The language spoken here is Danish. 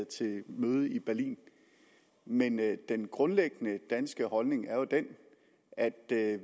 til møde i berlin men den grundlæggende danske holdning er den at